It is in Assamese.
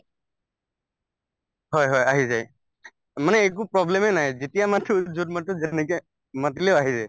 হয় হয় আহি যায় মানে একো problem য়ে নাই যেতিয়া মাতো যত মাতো যেনেকে মাতিলেও আহি যায়